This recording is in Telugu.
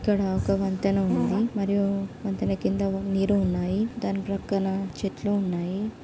ఇక్కడ ఒక వంతిన ఉంది మరియు వంతిన కింద నీరు ఉన్నాయి దాని ప్రక్కన చెట్లు ఉన్నాయి.